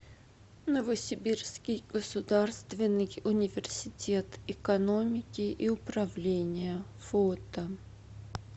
новосибирский государственный университет экономики и управления фото